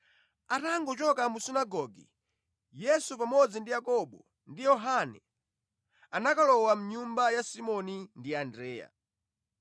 Atangochoka mu sunagoge, Yesu pamodzi ndi Yakobo ndi Yohane anakalowa mʼnyumba ya Simoni ndi Andreya.